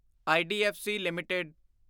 IDFC LTD